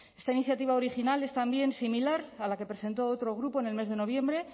esta iniciativa original es también similar a la que presentó otro grupo en el mes de noviembre